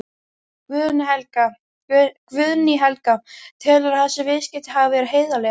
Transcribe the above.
Guðný Helga: Telurðu að þessi viðskipti hafi verið heiðarleg?